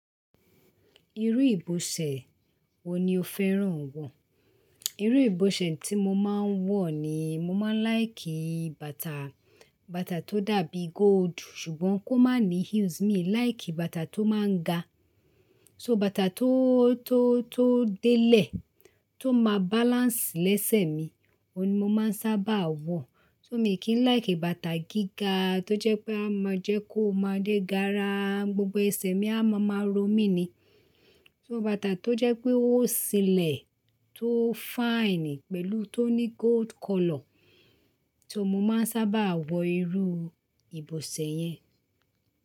Irú ìbọ̀sẹ̀ wo ni o fẹ́ràn wọ̀? Irú ìbọ̀sẹ̀ tí mo máa ń wọ̀ ni mo máa ń láìkì bàtà, bàtà tó dàbí gold, ṣùgbọ́n kó má ní heels mi. Làìkì bàtà tó máa ń ga. So bàtà tó, tó, tó délẹ̀, tó má balance lẹ́sẹ̀ mi, òun ni mo máa ń sábà wọ̀. So mi kì í láìkì bàtà gíga tó jẹ́ pé a máa jẹ́ kó máa dé gara, gbogbo ẹsẹ̀ mi a máa máa ro mí ni. So bàtà tó jẹ́ pé ó sílẹ̀, tó fine pẹ̀lú tó ní gold color so mo máa ń sábà wọ̀ irú ìbọ̀sẹ̀ yẹn.